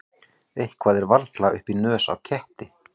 Eitthvað er varla upp í nös á ketti